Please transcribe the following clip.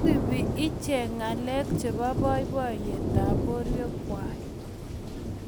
maisupi iche ngalek chebo boiboiyetab borwekwai